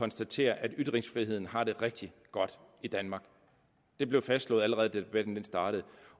konstatere at ytringsfriheden har det rigtig godt i danmark det blev fastslået allerede da debatten startede